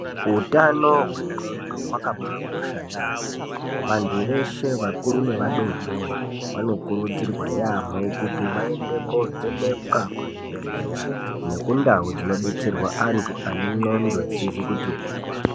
Utano hwendxondo zvakabakosha yaamho. Vantu veshe vakuru nevadodori vanokurudzirwa yaamho kuti vaende kovhenekwa kuzvibhehlera nekundau dzinobetserwa antu ane ndxondo dzisizi kuti hwee.